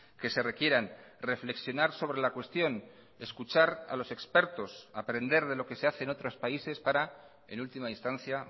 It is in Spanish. que se requieran reflexionar sobre la cuestión escuchar a los expertos aprender de lo que se hace en otros países para en última instancia